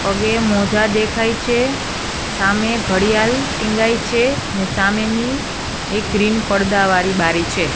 પગે મોજા દેખાઈ છે સામે ઘડિયાલ ટીંગાઈ છે અને સામેની એક ગ્રીન પરદા વાડી બારી છે.